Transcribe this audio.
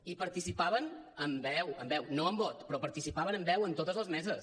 hi participaven amb veu amb veu no amb vot però participaven amb veu en totes les meses